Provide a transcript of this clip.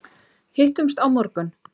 Hittumst á morgun!